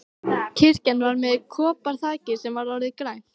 Kirkjan var með koparþaki sem var orðið grænt.